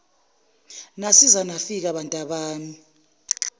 nasiza nafika bantabami